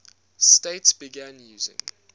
states began using